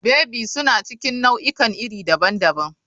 Baby suna cikin nau'ikan iri daban-daban.